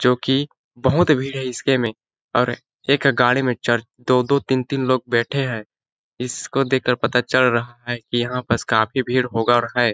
जोकि बहुत भीड़ है इसके में और एक गाड़ी में चर दो-दो तीन-तीन लोग बैठे है इसको देख कर पता चल रहा है की यहाँ पस काफी भीड़ होगा और है।